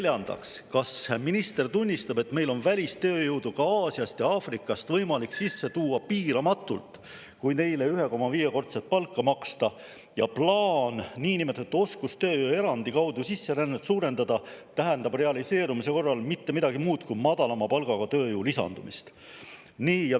Neljandaks, kas minister tunnistab, et meil on välistööjõudu ka Aasiast ja Aafrikast võimalik sisse tuua piiramatult, kui neile 1,5-kordset palka maksta, ning plaan niinimetatud oskustööjõu erandi kaudu sisserännet suurendada ei tähenda realiseerumise korral mitte midagi muud kui madalama palgaga tööjõu lisandumist?